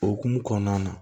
Okumu kɔnɔna na